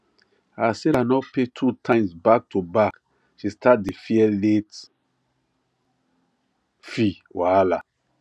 as sarah no pay two times back to back she start dey fear late fee wahala